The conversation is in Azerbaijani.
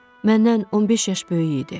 Məndən 15 yaş böyük idi.